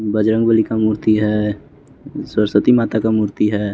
बजरंगबली का मूर्ति है सरस्वती माता का मूर्ति है।